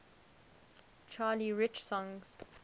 charlie rich songs